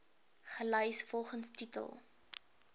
gelys volgens titel